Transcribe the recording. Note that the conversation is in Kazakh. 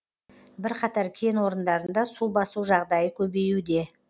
бірқатар кен орындарында су басу жағдайы көбеюде